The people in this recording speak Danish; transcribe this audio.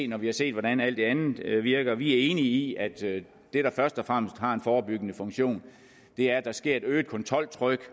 når vi har set hvordan alt det andet virker vi er enige i at det der først og fremmest har en forebyggende funktion er at der sker et øget kontroltryk